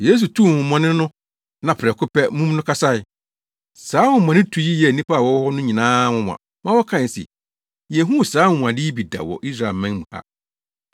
Yesu tuu honhommɔne no na prɛko pɛ, mum no kasae. Saa honhommɔnetu yi yɛɛ nnipa a wɔwɔ hɔ no nyinaa nwonwa ma wɔkae se, “Yenhuu saa anwonwade yi bi da wɔ Israelman mu ha!”